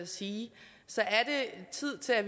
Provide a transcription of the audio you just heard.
sige tid til at